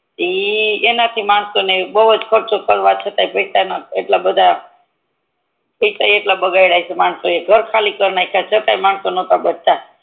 તો ઈ એના થી માણસો ને બૂજ ખર્ચો કરવા છતાં પૈસા ના એટલા બધ પૈસા ઈ એટલા બધા બગદ્ય હસે માણસોઈ ઘર ખાલી કાર નેખા છતાં મંનસો નતાબચતા